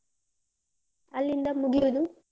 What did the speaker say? ಅಲ್ಲಿಂದ ಮುಗ್ಯೋದು?